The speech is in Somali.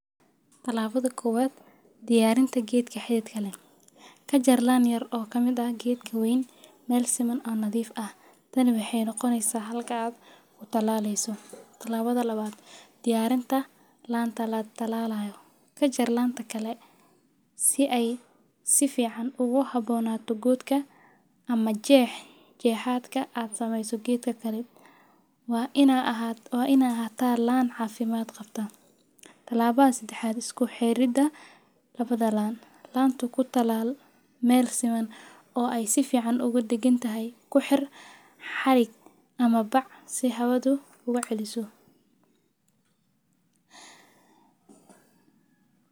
Talabada kowad diyarinta gedka xididkan kajar lan yar oo kamid ah gedka weyn, mel sidan oo nadif ah , tani waxay noqoneysaah halqacad talaleyso , talabada lawad diyarinta lanta latalalayo , kajar lanta kale si ay sifican uguhabionato gedka ama jex jexadka ad samayso gedka kale wa inaa ahataa lan cafimad qabtah. Talabada sedaxad iskuxirida lanta kutalal mel siman ay sifican ugudagantahay kuxir xarig ama bac si hawadu ugaceliso.